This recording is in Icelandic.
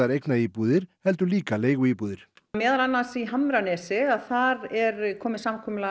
eignaríbúðir heldur líka leiguíbúðir meðal annars í hamranesi þar er komið samkomulag